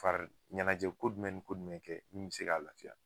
Fari ɲɛnajɛ ko jumɛn ni ko jumɛn kɛ mun be se ka lafiya.